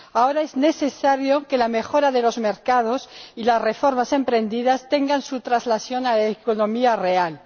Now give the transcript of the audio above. Ahora es necesario que la mejora de los mercados y las reformas emprendidas tengan su traslación a la economía real.